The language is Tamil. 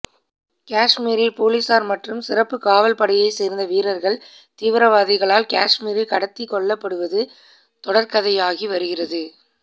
காஷ்மீரில் போலீசார் மற்றும் சிறப்பு காவல்படையை சேர்ந்த வீரர்கள் தீவிரவாதிகளால் காஷ்மீரில் கடத்தி கொல்லப்படுவது தொடர்கதையாகி வருகிறது